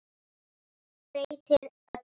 Breytir öllu.